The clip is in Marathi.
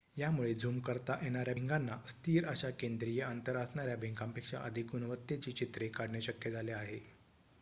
यामुळे झूम करता येणाऱ्या भिंगाना स्थिर अशा केद्रीय अंतर असणाऱ्या भिंगापेक्षा अधिक गुणवत्तेची चित्रे काढणे शक्य झाले आहे